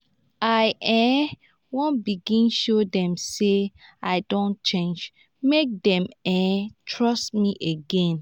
i um wan begin show dem sey i don change make dem um trust me again.